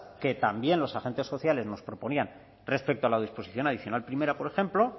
que también los agentes sociales nos proponía respecto a la disposición adicional primera por ejemplo